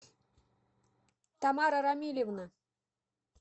тамара рамилевна